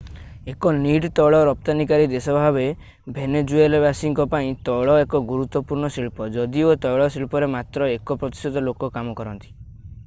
ଏକ ନିଟ୍ ତୈଳ ରପ୍ତାନିକାରୀ ଦେଶ ଭାବରେ ଭେନେଜୁଏଲାବାସୀଙ୍କ ପାଇଁ ତୈଳ ଏକ ଗୁରୁତ୍ଵପୂର୍ଣ୍ଣ ଶିଳ୍ପ ଯଦିଓ ତୈଳ ଶିଳ୍ପରେ ମାତ୍ର ଏକ ପ୍ରତିଶତ ଲୋକ କାମ କରନ୍ତି